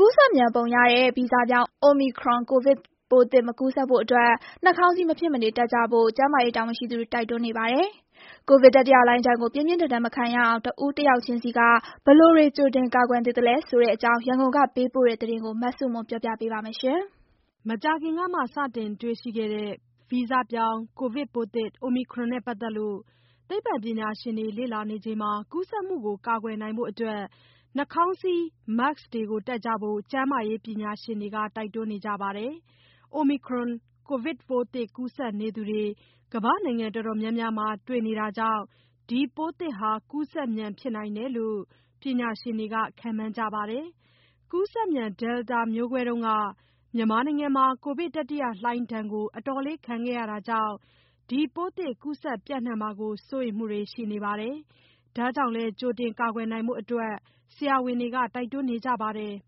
ကူးစက်မြန်ပုံရတဲ့ ဗီဇပြောင်း Omicron ကိုဗစ်ပိုးသစ် မကူးစက်ဖို့ နှာခေါင်းစည်း မဖြစ်မနေတပ်ကြဖို့ ကျန်းမာရေးတာဝန်ရှိသူတွေ တိုက်တွန်းနေပါတယ်။ ကိုဗစ်တတိယလှိုင်းဒဏ်လို ပြင်းပြင်းထန်ထန် မခံရအောင် တဦးတယောက်ချင်းဆီက ဘယ်လိုတွေကြိုတင် ကာကွယ်သင့်သလဲဆိုတဲ့အကြောင်း ရန်ကုန်က ပေးပို့တဲ့သတင်းကိုမဆုမွန်က တင်ပြပေးထားပါတယ်။ မကြာခင်ကမှ စတင်တေ့ွရှိတဲ့ ဗီဇပြောင်းကိုဗစ်ပိုးသစ် Omicron နဲ့ပတ်သက်လို့ သိပ္ပံပညာရှင်တွေ လေ့လာနေချိန်မှာ ကူးစက် မှု ကာကွယ်နိုင်ဖို့ နှာခေါင်းစည်း Mask တပ်ကြဖို့ ကျန်းမာရေးပညာရှင်တွေက တိုက်တွန်းနေကြပါတယ်။ Omicron ကိုဗစ်ပိုးသစ်ကူးစက်နေသူတွေ ကမ္ဘာ့နိုင်ငံတော်တော်များများမှာ တွေ့ရှိနေတာကြောင့် ဒီပိုးသစ်ဟာ ကူးစက်မြန်ဖြစ်နိုင်တယ်လို့ ပညာရှင်တွေ ခန့်မှန်းကြေပါတယ်။ ကူးစက်မြန် Delta မျိုးကွဲတုန်းက မြန်မာနိုင်ငံမှာ ကိုဗစ်တတိယလှိုင်းဒဏ်ကို အတော်လေး ခံခဲ့ရတာကြောင့် ပိုးသစ်ကူးစက်ပျံ့နှံ့မှာကို စိုးရိမ်မှုတွေလည်း ရှိနေပါတယ်။ ဒါကြောင့်လည်း ကြိုတင်ကာကွယ်နိုင်ဖို့ ဆရာဝန်တွေက တိုက်တွန်းနေကြပါတယ်။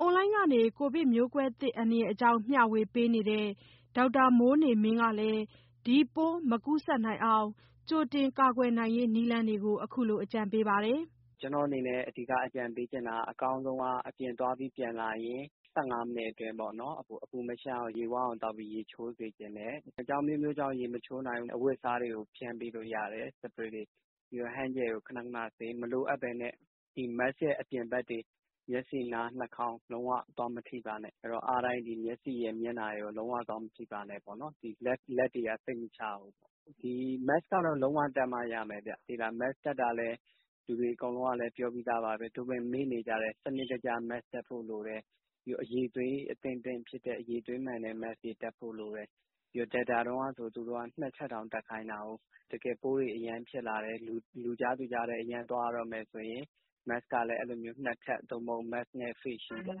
အွန်လိုင်းကနေ ကိုဗစ်မျိုးကွဲသစ်အန္တရာယ်အကြောင်း မျှဝေပေးနေတဲ့ ဒေါက်တာမိုးနေမင်းကလည်း ဒီပိုးမကူးစက်နိုင်အောင် ကြိုတင်ကာကွယ်ရေးနည်းလမ်းတွေကို အခုလို အကြံပေးထားပါတယ်။ "ကျနော့်အနေနဲ့ အဓိကအကြံပေးချင်တာက အကောင်းဆုံးက အပြင်သွားပြီးပြန်လာရင် ၁၅ မိနစ်အတွင်းပေါ့နော်၊ အပူမရှပ်အောင် ရေဝအောင်သောက်ပြီး ရေချိုးစေချင်တယ်။ အကြောင်းအမျိုးမျိုးကြောင့် ရေမချိုးနိုင်ဘူးဆို အဝတ်အစားတွေကို spray ဖျန်းပေးလို့ရတယ်။ ပြီးတော့ hand gel နဲ့ ခဏခဏဆေး။ မလိုအပ်ဘဲနဲ့ Mask ရဲ့အပြင်ဘက်တွေ၊ မျက်စိ၊ နား၊ နှာခေါင်း လုံးဝ သွားမထိပါနဲ့။ အားတိုင်း မျက်စိရယ်၊ မျက်နှာရယ်ကိုတော့ လုံးဝသွားမထိပါနဲ့ပေါ့နော်၊ လက်တွေက စိတ်မချရဘူး။ Mask ကတော့ လုံးဝတပ်မှရမယ်ဗျ။ Mask တပ်တာကလည်း လူတွေအကုန်လုံးကလည်း ပြောပြီးသားပါ။ သို့ပေမယ့် မေ့နေကြတယ်၊ စနစ်တကျ Mask တပ်ဖို့လိုတယ်။ ပြီးတော့ အရည်အသွေးအသင့်အတင့်ဖြစ်တဲ့ အရည်အသွေးမှန်တဲ့ Mask တွေ ဖြစ်ဖို့လိုတယ်။ Delta တုန်းကဆို သူတို့က နှစ်ထပ်တောင်တပ်ခိုင်းတာကို။ တကယ်ပိုးတွေ အရမ်းဖြစ်လာတယ်၊ လူကြားသူကြားထဲ အရမ်းသွားရတော့မယ်ဆိုရင် Mask နှစ်ထပ် သို့မဟုတ် Mask နဲ့ Face shield ကတော့ လ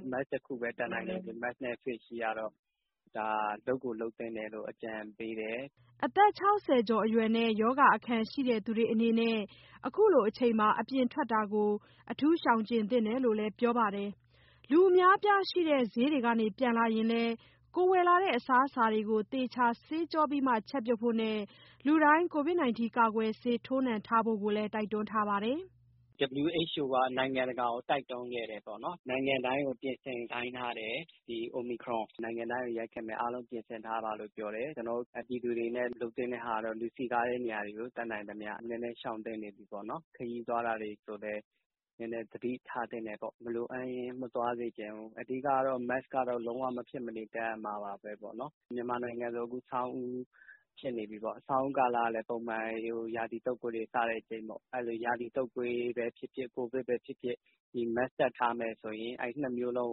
ုပ်ကိုလုပ်သင့်တယ်လို့ အကြံပေးတယ်။" အသက် ၆၀ ကျော်အရွယ်နဲ့ ရောဂါအခံရှိသူတွေအနေနဲ့ အခုလိုအချိန်မှာ အပြင်ထွက်တာကို ရှောင်ကြဉ်သင့်တယ်လို့လည်း ပြောပါတယ်။ လူအများအပြားရှိတဲ့ ဈေးကနေပြန်လာရင်လည်း ဝယ်လာတဲ့အစားအစာတွေကို သေချာဆေးကြောပြီးမှ ချက်ပြုတ်ဖို့နဲ့ လူတိုင်း ကာကွယ်ဆေးထိုးနှံဖို့ကိုလည်း တိုက်တွန်းထားပါတယ်။ "WHO က နိုင်ငံတကာကို တိုက်တွန်းခဲ့တယ်ပေါ့နော်၊ နိုင်ငံတိုင်းကို ပြင်ဆင်ခိုင်းထားတယ်။ ဒီ Omicron နိုင်ငံတိုင်းကို ရိုက်ခတ်မယ်၊ အားလုံးပြင်ဆင်ထားပါလို့ ပြောတယ်။ ကျနော်တို့ ပြည်သူတွေအနေနဲ့ လုပ်သင့်တဲ့ဟာကတော့ လူစည်ကားတဲ့နေ ရာတွေကို တတ်နိုင်သမျှ နည်းနည်းရှောင်သင့်နေပြီပေါ့နော်။ ခရီးသွားတာတွေကိုလည်း နည်းနည်းသတိထားသင့်တယ်ပေါ့၊ မလိုအပ်ရင် မသွားစေချင်ဘူး။ အဓိက ကတော့ Mask ကတော့ လုံးဝမဖြစ်မနေ တပ်ရမှာပါပဲပေါ့နော်။ မြန်မာနိုင်ငံဆို အခုဆောင်းဦးဖြစ်နေပြီပေါ့။ ဆောင်းဦးကာလကလည်း ပုံမှန် ရာသီတုပ်ကွေးတွေ စတဲ့အချိန်ပေါ့။ အဲတော့ ရာသီတုပ်ကွေးပဲဖြစ်ဖြစ်၊ ကိုဗစ်ပဲဖြစ်ဖြစ် ဒီ Mask တပ်ထားမယ်ဆိုရင် နှစ်မျိုးလုံး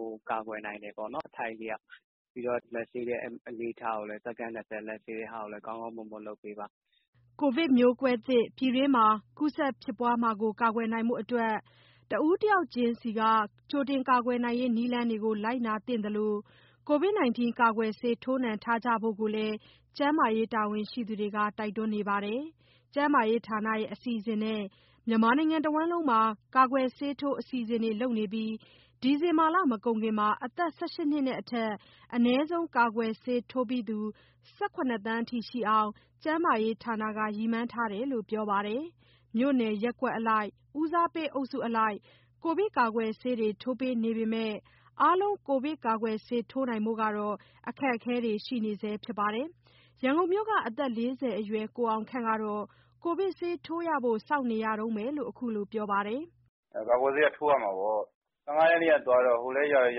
ကို အထိုက်အလျောက်ကာကွယ်တယ်ပေါ့နော်။ ပြီးတော့ လက်ဆေးတဲ့အလေ့အထကိုလည်း စက္ကန့် ၂၀ လက်ဆေးတဲ့အလေ့အထကိုလည်း ကောင်းကောင်းမွန်မွန်လုပ်ပေးပါ။" ကိုဗစ်မျိုးကွဲသစ် ပြည်တွင်းမှာ ကူးစက်ဖြစ်ပွားမှုကို ကာကွယ်နိုင်ဖို့ တဦးတယောက်ချင်းစီက ကြိုတင်ကာကွယ်ရေးနည်းလမ်းတွေကို လိုက်နာသင့်သလို ကာကွယ်ဆေးထိုးနှံကြဖို့ကိုလည်း ကျန်းမာရေးတာဝန်ရှိသူတွေက တိုက်တွန်းနေတာပါ။ ကျန်းမာရေးဌာနရဲ့ အစီအစဉ်နဲ့ မြန်မာနိုင်ငံတဝန်း ကာကွယ်ဆေးထိုးအစီအစဉ်တွေ လုပ်နေပြီး ဒီဇင်ဘာလ မကုန်ခင် ၁၈ နှစ်နဲ့အထက် အနည်းဆုံးကာကွယ်ဆေးထိုးပြီးသူ ၁၇ သန်းအထိရှိအောင် ကျန်းမာရေးဌာနက ရည်မှန်းထားလို့ ပြောထားပါတယ်။ မြို့နယ် ရပ်ကွက်အလိုက် ဦးစားပေးအုပ်စုအလိုက် ကိုဗစ်ကာကွယ်ဆေးတွေ ထိုးပေးနေပေမဲ့ အားလုံး ကာကွယ်ဆေးထိုးနိုင်ဖို့ အခက်အခဲတွေတော့ ရှိနေစဲဖြစ်ပါတယ်။ ရန်ကုန်မြို့က အသက် ၄၀ အရွယ် ကိုအောင်ခန့်ကတော့ ကာကွယ်ဆေးထိုးရဖို့ စောင့်နေရ တုန်းပဲလို ခုလိုပြောပါတယ်။ "ကာကွယ်ဆေးက ထိုးရမှာပေါ့။ ၁၅ ရက်နေ့ကသွားတော့ ဟိုလည်းရောက်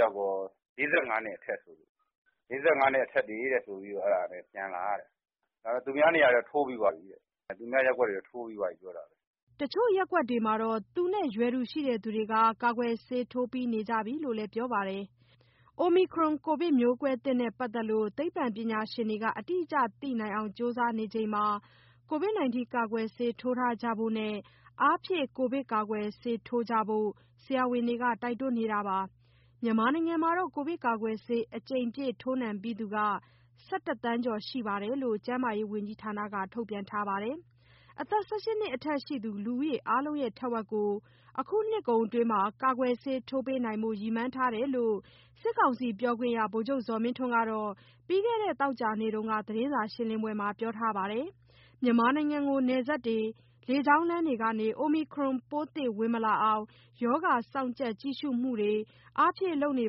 ရော ၄၅ နှစ်အထက်တွေဆိုလို့ အဲဒါပြန်လာရတယ်။ ဒါပေမယ့် သူများရပ်ကွက်တွေကတော့ ထိုးပြီးသွားပြီ ပြောတာပဲ။" တချို့ရပ်ကွက်တွေမှာတော့ သူနဲ့ရွယ်တူရှိသူတွေ ကာကွယ်ဆေးထိုးပြီးနေကြပြီလို့ လည်းပြောပါတယ်။ Omicron ကိုဗစ်မျိုးကွဲသစ်နဲ့ပတ်သက်လို့ သိပ္ပံပညာရှင်တွေက အတိအကျသိနိုင်အောင် ကြိုးစားနေချိန်မှာ ကိုဗစ်ကာကွယ်ဆေးထိုးကြဖို့နဲ့ အားဖြည့်ကိုဗစ်ကာကွယ်ဆေး ထိုးကြဖို့ ဆရာဝန်တွေက တိုက်တွန်းနေတာပါ။ မြန်မာနိုင်ငံမှာတော့ ကိုဗစ်ကာကွယ်ဆေးအကြိမ်ပြည့် ထိုးနှံပြီးသူက ၁၁ သန်းကျော်ရှိတယ်လို့ ကျန်းမာရေးဝန်ကြီးဌာနက ထုတ်ပြန်ထားပါတယ်။ အသက် ၁၈ နှစ်အထက်ရှိသူ လူဦးရေအားလုံးရဲ့ ထက်ဝက်ကို အခုနှစ်ကုန်အတွင်း ကာကွယ်ဆေးထိုးပေးနိုင်ဖို့ ရည်မှန်းထားတယ်လို့ စစ်ကောင်စီပြောခွင့်ရ ဗိုလ်ချုပ်ဇော်မင်းထွန်းက ပြီးခဲ့တဲ့ သောကြာနေ့တုန်းက သတင်းစာရှင်းပွဲမှာ ပြောထားပါတယ်။ မြန်မာနိုင်ငံကို နယ်စပ်တွေ၊ လေကြောင်းလမ်းတွေကနေ Omicron ပိုးသစ် ဝင်မလာအောင် ရောဂါေစောင့်ကြပ် ကြည့်ရှုမှုတွေ အားဖြည့်လုပ်နေ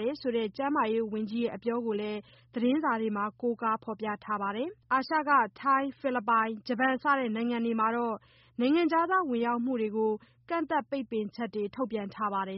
တယ်ဆိုတဲ့ ကျန်းမာရေးဝန်ကြီးရဲ့ အပြောကိုလည်း သတင်းစာတွေထဲမှာ ကိုးကားဖော်ပြထားပါတယ်။ အာရှက ထိုင်း၊ ဖိလစ်ပိုင်၊ ဂျပန်စတဲ့နိုင်ငံတွေမှာတော့ နိုင်ငံခြားသားဝင်ရောက်မှုတွေကို ကန့်သတ် ပိတ်ပင်ချက်တွေ ထုတ်ပြန်ထားပါတယ်